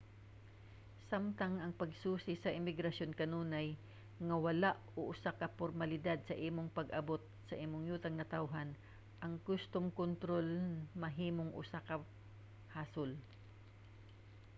samtang ang pagsusi sa imigrasyon kanunay nga wala o usa ka pormalidad sa imong pag-abot sa imong yutang natawhan ang kustom kontrol mahimong usa ka hasol